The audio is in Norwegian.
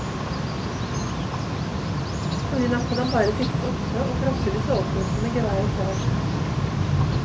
Forrige natt hadde han bare sittet oppe å frosset i soveposen med geværet klart.